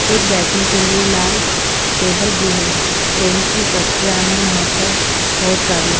एक बैठने के लिए लाल टेबल भी है ट्रेन की पट्टियाँ हैं यहाँ पर बहुत सारी--